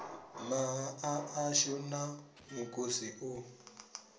mahaḓa ashu na mukosi u